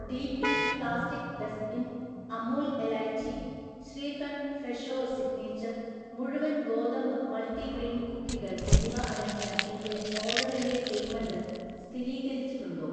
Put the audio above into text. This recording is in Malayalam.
D P plastic dustbin, Amul elaichi, shrikhand Fresho signature, മുഴുവൻ ഗോതമ്പ് മൾട്ടിഗ്രെയിൻ കുക്കികൾ, എന്നിവ അടങ്ങിയ എന്‍റെ ഓർഡറിന്‍റെ പേയ്മെൻ്റ് സ്ഥിതീകരിച്ചിട്ടുണ്ടൊ?